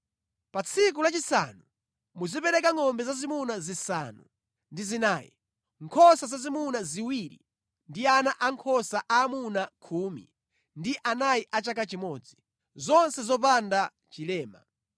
“ ‘Pa tsiku lachisanu muzipereka ngʼombe zazimuna zisanu ndi zinayi, nkhosa zazimuna ziwiri ndi ana ankhosa aamuna khumi ndi anayi a chaka chimodzi, zonse zopanda chilema.